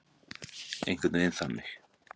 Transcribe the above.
Einhvern veginn þannig.